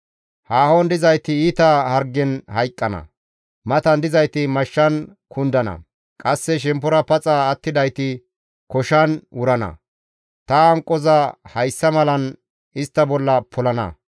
Haahon dizayti iita hargen hayqqana; matan dizayti mashshan kundana; qasse shemppora paxa attidayti koshan wurana; ta hanqoza hayssa malan istta bolla polana.